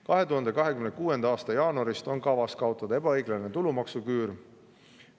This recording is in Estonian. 2026. aasta jaanuarist on kavas kaotada ebaõiglane tulumaksuküür.